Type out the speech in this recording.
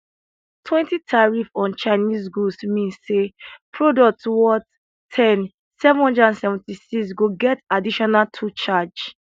20 tariff on chinese goods mean say product worth ten 776 go get additional 2 charge